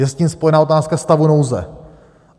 Je s tím spojena otázka stavu nouze.